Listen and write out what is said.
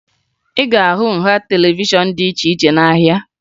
Ị ga-ahụ nha televishọn dị iche iche n'ahịa